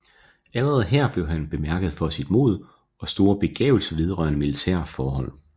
Allerede her blev han bemærket for sit mod og store begavelse vedrørende militære forhold